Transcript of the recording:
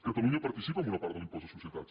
catalunya participa amb una part de l’impost de societats